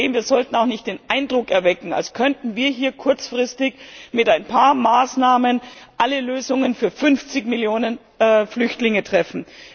Wir sollten auch nicht den Eindruck erwecken, als könnten wir hier kurzfristig mit ein paar Maßnahmen alle Lösungen für 50 Millionen Flüchtlinge finden.